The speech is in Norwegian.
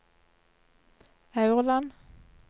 Aurland